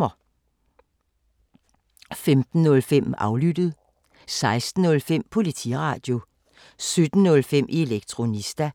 15:05: Aflyttet 16:05: Politiradio 17:05: Elektronista